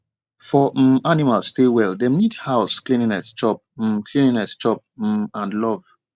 for um animal stay well dem need house cleanliness chop um cleanliness chop um and love